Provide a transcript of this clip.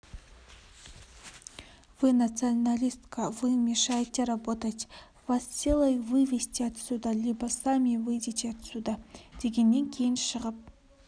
вы националистка вы мешаете работать вас силой вывести отсюда либо сами выйдете отсюда дегенен кейін шығып